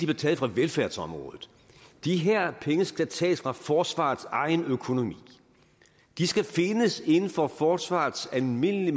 taget fra velfærdsområdet de her penge skal tages fra forsvarets egen økonomi de skal findes inden for forsvarets almindelige